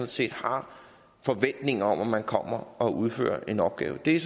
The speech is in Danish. set har forventninger om at man kommer og udfører en opgave er